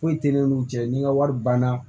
Foyi tɛ ne n'u cɛ ni ŋa wari banna